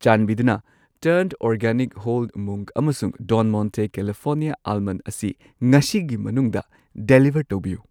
ꯆꯥꯟꯕꯤꯗꯨꯅ turn organic whole moong ꯑꯃꯁꯨꯡ Don Monte California ꯑꯥꯜꯃꯟꯗ ꯑꯁꯤ ꯉꯁꯤꯒꯤ ꯃꯅꯨꯡꯗ ꯗꯦꯂꯤꯚꯔ ꯇꯧꯕꯤꯌꯨ꯫